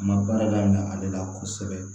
Ma baarada in na ale la kosɛbɛ